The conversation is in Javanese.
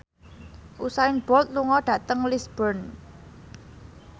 Usain Bolt lunga dhateng Lisburn